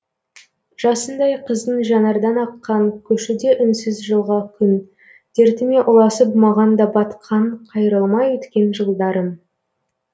жасындай қыздың жанардан аққан көшуде үнсіз жылға күн дертіме ұласып маған да батқан қайрылмай өткен жылдарым